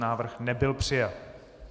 Návrh nebyl přijat.